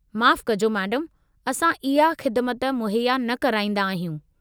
माफ़ु कजो, मैडम असां उहा ख़िदिमत मुहैया न कराईंदा आहियूं।